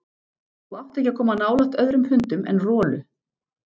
Þú átt ekki að koma nálægt öðrum hundum en Rolu.